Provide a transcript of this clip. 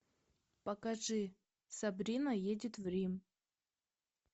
покажи сабрина едет в рим